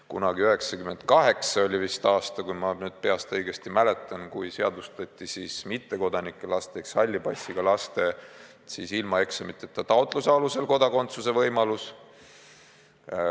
Kunagi, 1998 oli vist see aasta, kui ma õigesti mäletan, seadustati mittekodanike laste ehk halli passiga inimeste laste võimalus ilma eksamiteta, taotluse alusel kodakondsus saada.